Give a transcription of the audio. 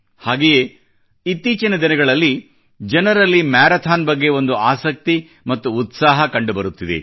ಹಾಗೆಯೇ ಇತ್ತೀಚಿನ ದಿನಗಳಲ್ಲಿ ಜನರಲ್ಲಿ ಮ್ಯಾರಾಥಾನ್ ಬಗ್ಗೆ ಒಂದು ಆಸಕ್ತಿ ಮತ್ತು ಉತ್ಸಾಹ ಕಂಡುಬರುತ್ತಿದೆ